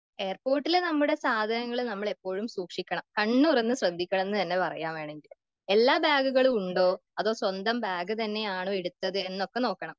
എയർപോർട്ടിൽ നമ്മുടെ സാധനങ്ങള് നമ്മള് എപ്പോഴും സൂക്ഷിക്കണം.കണ്ണ് തുറന്ന് ശ്രദ്ധിക്കണമെന്ന് തന്നെ പറയാം വേണമെങ്കില്.എല്ലാ ബാഗുകളും ഉണ്ടോ അതോ സ്വന്തം ബാഗ് തന്നെയാണോ എടുത്തത് ഒക്കെ നോക്കണം.